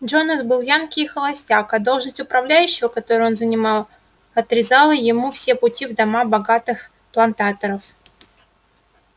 джонас был янки и холостяк а должность управляющего которую он занимал отрезала ему все пути в дома богатых плантаторов